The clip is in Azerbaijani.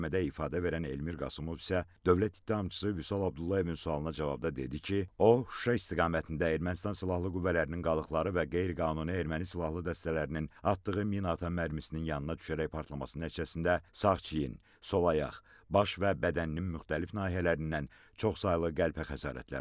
Məhkəmədə ifadə verən Elmir Qasımov isə Dövlət ittihamçısı Vüsal Abdullayevin sualına cavabda dedi ki, o, Şuşa istiqamətində Ermənistan silahlı qüvvələrinin qalıqları və qeyri-qanuni erməni silahlı dəstələrinin atdığı minaatan mərmisinin yanında düşərək partlaması nəticəsində sağ çiynindən, sol ayaq, baş və bədəninin müxtəlif nahiyələrindən çoxsaylı qəlpə xəsarətləri alıb.